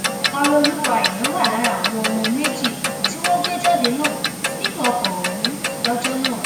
ọrẹọlùwà aina wà lára àwọn méjì tí wọn gbé jáde lókùú nínú ọkọ ọhún lọjọ náà